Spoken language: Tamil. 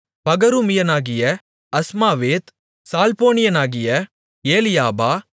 பகரூமியனாகிய அஸ்மாவேத் சால்போனியனாகிய ஏலியாபா